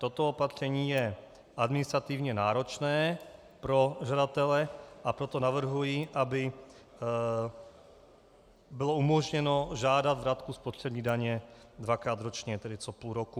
Toto opatření je administrativně náročné pro žadatele, a proto navrhuji, aby bylo umožněno žádat vratku spotřební daně dvakrát ročně, tedy co půl roku.